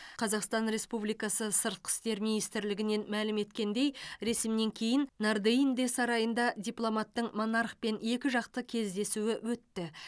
қазақстан республикасы сыртқы істер министрлігінен мәлім еткендей ресімнен кейін нордеинде сарайында дипломаттың монархпен екіжақты кездесуі өтті